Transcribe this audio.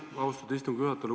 Aitäh, austatud istungi juhataja!